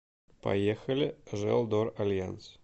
поехали желдоральянс